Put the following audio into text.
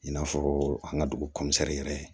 I n'a fɔ an ka dugu yɛrɛ